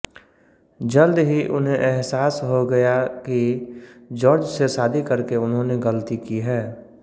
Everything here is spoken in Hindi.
जल्द ही उन्हें एहसास हो गया कि जॉर्ज से शादी करके उन्होंने गलती की है